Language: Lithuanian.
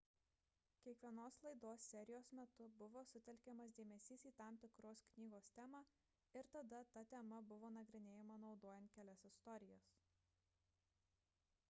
kiekvienos laidos serijos metu buvo sutelkiamas dėmesys į tam tikros knygos temą ir tada ta tema buvo nagrinėjama naudojan kelias istorijas